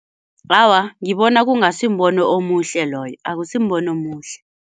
Awa, ngibona kungasimbono omuhle loyo akusimbono omuhle.